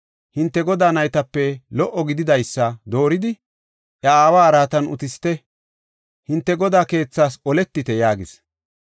hinte godaa naytape lo77o gididaysa dooridi, iya aawa araatan utisite; hinte godaa keethaas oletite” yaagis.